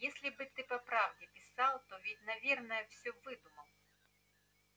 если бы ты по правде писал а то ведь наверное всё выдумал